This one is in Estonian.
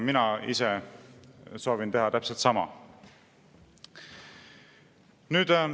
Mina ise soovin teha täpselt sama.